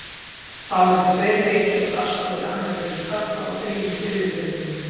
Þá eru tveir leikir á dagskrá í annarri deild karla og þrír í þriðju deildinni.